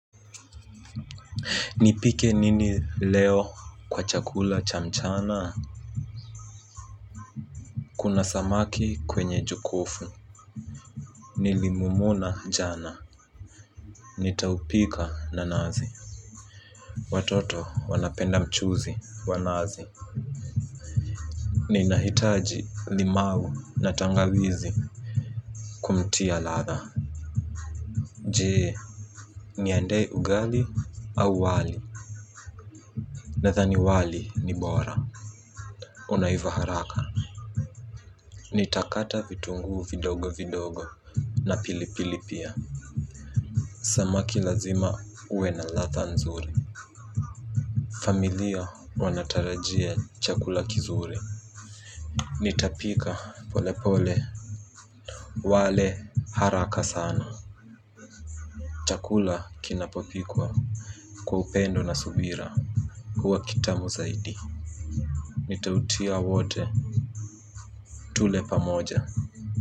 Nipike nini leo kwa chakula cha mchana kuna samaki kwenye jokovu nilimumuna jana nitaupika na nazi watoto wanapenda mchuzi wanazi ninahitaji limau na tangawizi kumtia ladha je, niandae ugali au wali nadhani wali ni bora unaiva haraka nitakata vitunguu vidogo vidogo. Na pilipili pia. Samaki lazima uwe na ladha nzuri. Familia wanatarajia chakula kizuri. Nitapika pole pole. Wale haraka sana chakula kinapopikwa kwa upendo na subira huwa kitamu zaidi. Nitautia wote. Tule pamoja.